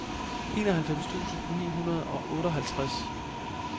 enoghalvfems tusind ni hundrede og otteoghalvtreds